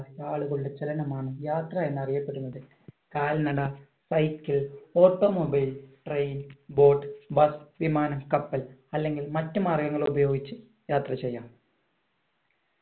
ആളുകളുടെ ചലനമാണ് യാത്ര എന്നറിയപ്പെടുന്നത് കാൽനട cycle automobile train boat bus വിമാനം കപ്പൽ അല്ലെങ്കിൽ മറ്റു മാർഗങ്ങൾ ഉപയോഗിച്ച് യാത്ര ചെയ്യാം